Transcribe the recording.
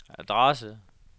adresse